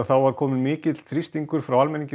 er kominn mikill þrýstingur frá almenningi